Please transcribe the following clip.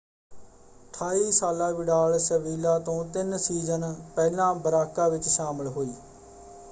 28 ਸਾਲਾ Vidal Sevilla ਤੋਂ ਤਿੰਨ ਸੀਜ਼ਨ ਪਹਿਲਾਂ ਬਰਾਕਾ ਵਿੱਚ ਸ਼ਾਮਲ ਹੋਈ।